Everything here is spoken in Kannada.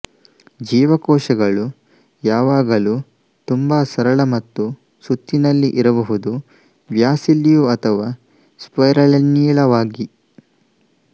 ಜೀವಕೋಶಗಳು ಯಾವಾಗಲೂ ತುಂಬಾ ಸರಳ ಮತ್ತು ಸುತ್ತಿನಲ್ಲಿ ಇರಬಹುದು ಬ್ಯಾಸಿಲ್ಲಿಯು ಅಥವಾ ಸ್ಪೈರಲ್ನೀಳವಾಗಿ